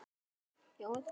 Og hann snerti hönd mína.